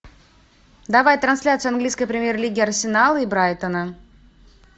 давай трансляцию английской премьер лиги арсенал и брайтона